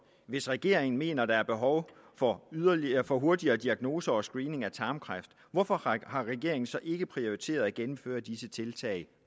hvis regeringen mener at der er behov for hurtigere for hurtigere diagnoser og screening for tarmkræft hvorfor har regeringen så ikke prioriteret at gennemføre disse tiltag